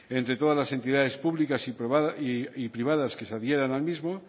entre todas las entidades públicas y privadas que se adhieran al mismo